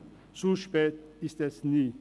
Es ist nie zu spät.